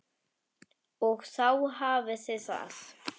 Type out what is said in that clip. Og þá hafiði það!